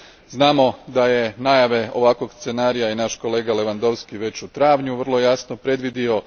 Znamo da je najave ovakvog scenarija i naš kolega Lewandovski već u travnju vrlo jasno predvidio.